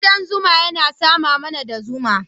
Ƙudan zuna yana sama mana da zuma.